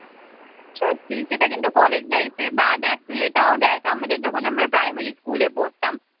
সত্যি সেটা কিন্তু কলেজ life এ বা দেখ তুই এটাও দেখ আমাদের যখন আমরা primary স্কুলে পড়তাম